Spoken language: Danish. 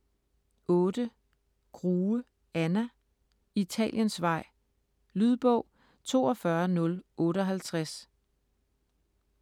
Grue, Anna: Italiensvej Lydbog 42058